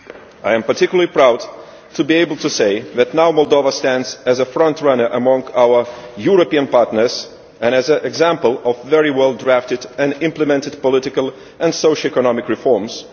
I am particularly proud to be able to say that now Moldova stands as a front runner among our European partners and as an example of very well drafted and implemented political and socio economic reforms.